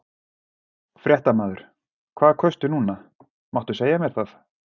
Fréttamaður: Hvað kaustu núna, máttu segja mér það?